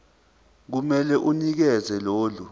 kumele unikeze lolu